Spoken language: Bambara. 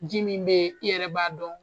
Ji min bɛ yen i yɛrɛ b'a dɔn